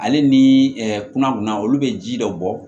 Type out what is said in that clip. Ale ni kunna kunna olu bɛ ji dɔ bɔ